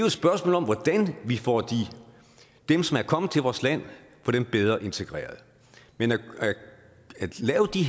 et spørgsmål om hvordan vi får dem som er kommet til vores land bedre integreret men at lave